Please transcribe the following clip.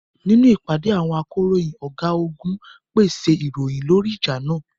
Nínú ìpàdé àwọn akọ̀ròyìn, ọ̀gágun pèsè ìròyìn lórí ìjà náà.